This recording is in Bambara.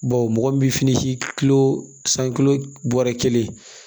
Bawo mɔgɔ min bi fini si kilo san kilo bɔrɛ kelen